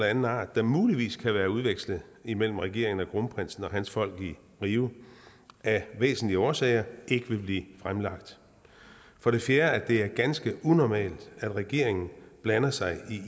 anden art der muligvis kan være udvekslet imellem regeringen og kronprinsen og hans folk i rio af væsentlige årsager ikke blive fremlagt for det fjerde er det ganske unormalt at regeringen blander sig